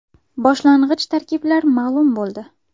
Boshlang‘ich tarkiblar ma’lum bo‘ldi.